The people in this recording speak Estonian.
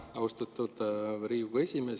Aitäh, austatud Riigikogu esimees!